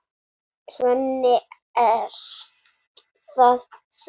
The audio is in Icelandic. Svenni, ert það þú!?